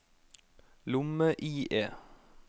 lomme-IE